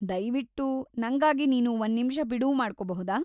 ದಯ್ವಿಟ್ಟು ನಂಗಾಗಿ ನೀನು ಒಂದ್ನಿಮಿಷ ಬಿಡುವು ಮಾಡ್ಕೊಬಹುದಾ?